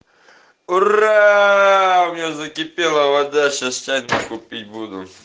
ура у меня закипела вода щас чайку пить буду